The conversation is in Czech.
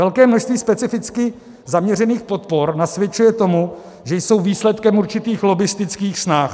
Velké množství specificky zaměřených podpor nasvědčuje tomu, že jsou výsledkem určitých lobbistických snah.